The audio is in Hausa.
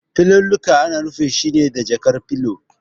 Filallika ana rufe su ne da jakar filo.